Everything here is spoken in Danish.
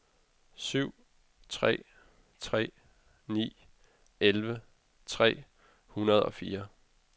syv tre tre ni elleve tre hundrede og fire